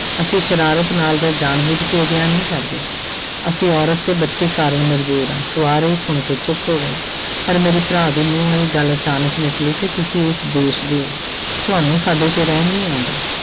ਅਸੀਂ ਸਰਾਰਤ ਨਾਲ ਜਾਂ ਜਾਣਬੁਝ ਕੇ ਅਜਿਹਾ ਨਹੀਂ ਕਰਦੇ ਅਸੀਂ ਔਰਤ ਤੇ ਬੱਚੇ ਕਾਰਨ ਮਜ਼ਬੂਰ ਹਾਂ ਸਵਾਰ ਇਹ ਸੁਣ ਕੇ ਚੁੱਪ ਹੋ ਗਏ ਪਰ ਮੇਰੇ ਭਰਾ ਦੇ ਮੂੰਹੋਂ ਇਹ ਗੱਲ ਅਚਾਨਕ ਨਿਕਲੀ ਕਿ ਤੁਸੀਂ ਇਸ ਦੇਸ ਦੇ ਹੋ ਤੁਹਾਨੂੰ ਸਾਡੇ ਤੇ ਰਹਿਮ ਨਹੀਂ ਆਉਂਦਾ।